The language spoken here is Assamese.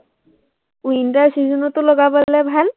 winter season টো লগাব পাৰিলে ভাল